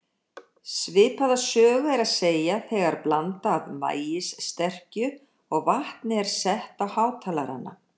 Svipaða sögu er að segja þegar blanda af maíssterkju og vatni er sett á hátalara.